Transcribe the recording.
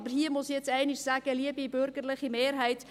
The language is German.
Aber hier muss ich einmal sagen, liebe bürgerliche Mehrheit: